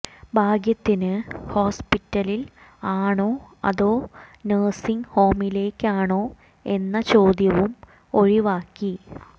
ഭാഗ്യത്തിന് ഹോസ്പിറ്റലിൽ ആണോ അതോ നഴ്സിംഗ് ഹോമിലേക്കാണോ എന്ന ചോദ്യവും ഒഴിവാക്കി